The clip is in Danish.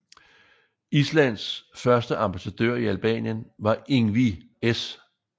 Islands første ambassadør i Albanien var Ingvi S